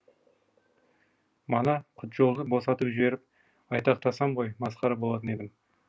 мана құтжолды босатып жіберіп айтақтасам ғой масқара болатын едім